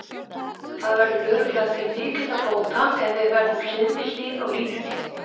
Það verður örugglega til mikilla bóta ef við verðum hlið við hlið á línunni.